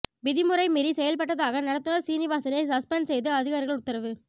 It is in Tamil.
விதிமுறை மீறி செயல்பட்டதாக நடத்துநர் சீனிவாசனை சஸ்பெண்ட் செய்து அதிகாரிகள் உத்தரவு